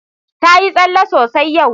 Ta yi tsalle sosai yau.